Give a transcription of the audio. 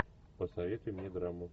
посоветуй мне драму